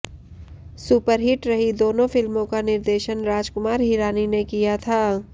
superhit रही दोनों फिल्मों का निर्देशन राजकुमार हिरानी ने किया था